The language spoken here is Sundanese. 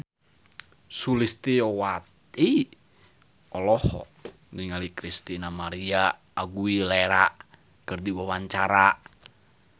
Sulistyowati olohok ningali Christina María Aguilera keur diwawancara